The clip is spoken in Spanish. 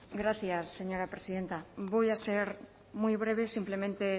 gracias señora presidenta voy a ser muy breve simplemente